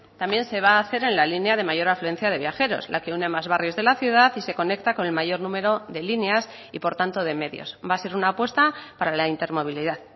también se va a hacer en la línea de mayor afluencia de viajeros la que une más barrios de la ciudad y se conecta con el mayor número de líneas y por tanto de medios va a ser una apuesta para la intermovilidad